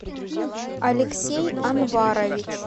алексей анварович